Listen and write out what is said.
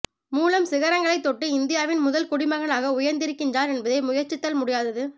மூலம் சிகரங்களை தொட்டு இந்தியாவின் முதல் குடி மகனாக உயர்ந்திருக்கிறார் என்பதே முயற்சித்தால் முடியாதது